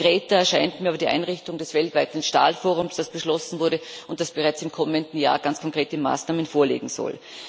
Konkreter scheint mir aber die Einrichtung des weltweiten Stahlforums, das beschlossen wurde und das bereits im kommenden Jahr ganz konkrete Maßnahmen vorlegen soll.